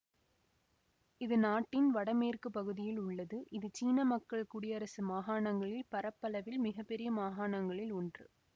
இது நாட்டின் வடமேற்கு பகுதியில் உள்ளது இது சீன மக்கள் குடியரசு மாகாணங்களில் பரப்பளவில் மிக பெரிய மாகாணங்களில் ஒன்று